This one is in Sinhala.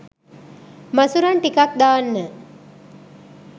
මසුරන් ටිකක් දාන්න